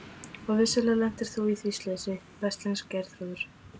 Og vissulega lentir þú í því slysi, veslings Geirþrúður.